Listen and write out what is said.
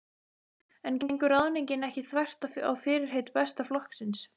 En gengur ráðningin ekki þvert á fyrirheit Besta flokksins?